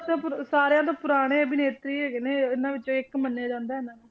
ਸਭ ਤੋਂ ਪੁਰਾ~ ਸਾਰਿਆਂ ਤੋਂ ਪੁਰਾਣੇ ਅਭਿਨੇਤਰੀ ਹੈਗੇ ਨੇ ਉਹਨਾਂ ਵਿੱਚੋਂ ਇੱਕ ਮੰਨਿਆ ਜਾਂਦਾ ਇਹਨਾਂ ਨੂੰ।